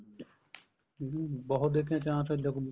ਹਮ ਬਹੁਤ ਦੇਖੇ ਆ chance ਇੱਦਾਂ ਹੁੰਦੇ